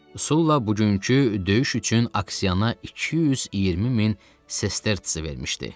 Sulla bugünkü döyüş üçün Aksianaya 220 min sestersi vermişdi.